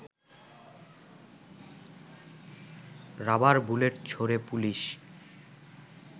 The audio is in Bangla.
রাবার বুলেট ছোড়ে পুলিশ